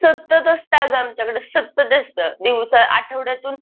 सतत असतं अगं आमच्याकडं सतत असतं. दिवसा आठवड्यातून